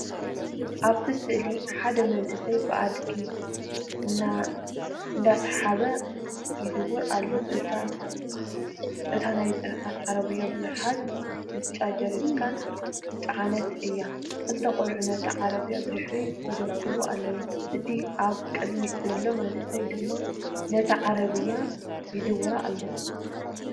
ኣብቲ ስእሊ ሓደ መንእሰይ ብኣድጊ እነዳሰሓበ ክዝውር ይርአ። እታ ናይ ጽዕነት ዓረብያ ብዙሓት ብጫ ጀሪካን ዝፃዓነት እያ። ክልተ ቆልዑ ነታ ዓረብያ ብድሕሪት ይደፍእዋ ኣለዉ፡ እቲ ኣብ ቅድሚት ዘሎ መንእሰይ ድማ ነታ ዓረብያ ይዝውራ ኣሎ።